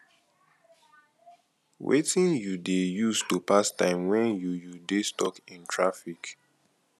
wetin you dey use to pass time when you you dey stuck in traffic